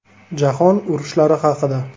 Jahon urushlari haqida.